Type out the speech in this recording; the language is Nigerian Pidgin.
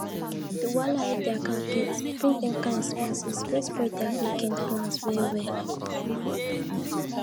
di wahala wey their car get bring dem kain expenses wey spoil their weekend plans well well